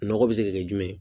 Nɔgɔ bɛ se ka kɛ jumɛn ye